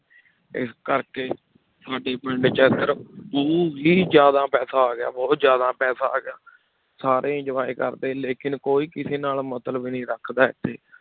ਇਸ ਕਰਕੇ ਸਾਡੇ ਪਿੰਡ 'ਚ ਇੱਧਰ ਹੀ ਜ਼ਿਆਦਾ ਪੈਸਾ ਆ ਗਿਆ ਬਹੁਤ ਜ਼ਿਆਦਾ ਪੈਸਾ ਆ ਗਿਆ, ਸਾਰੇ enjoy ਕਰਦੇ ਲੇਕਿੰਨ ਕੋਈ ਕਿਸੇ ਨਾਲ ਮਤਲਬ ਨੀ ਰੱਖਦਾ ਇੱਥੇ